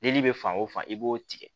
Dili bɛ fan o fan i b'o tigɛ